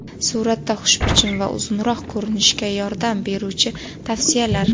Suratda xushbichim va uzunroq ko‘rinishga yordam beruvchi tavsiyalar.